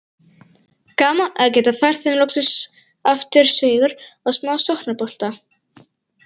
Gaman að geta fært þeim loksins aftur sigur og smá sóknarbolta!